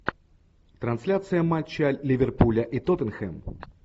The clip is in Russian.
трансляция матча ливерпуля и тоттенхэм